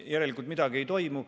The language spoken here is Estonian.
Järelikult midagi ei toimu.